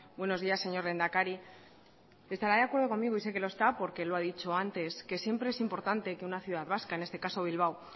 buenos días señor lehendakari estará de acuerdo conmigo y sé que lo está porque lo ha dicho antes que siempre es importante que una ciudad vasca en este caso bilbao